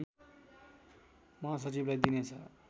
महासचिवलाई दिनेछ